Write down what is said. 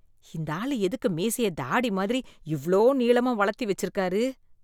இந்த ஆள் எதுக்கு மீசைய தாடி மாதிரி இவ்ளோ நீளமா வளர்த்தி வெச்சிருக்காரு?